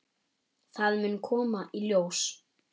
Það mun koma í ljós.